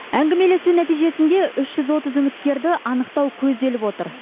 әңгімелесу нәтижесінде үш жүз отыз үміткерді анықтау көзделіп отыр